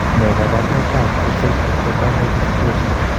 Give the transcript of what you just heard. Ne kaabarunetap Facial ectodermal dysplasia?